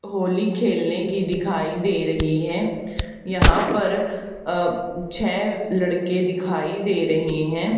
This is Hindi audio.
होली खेलने की दिखाई दे रही है यहां पर अ ब छह लड़के दिखाई दे रहे हैं।